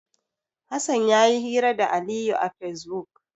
Hassan ya yi hira da Aliyu a Fesbuk.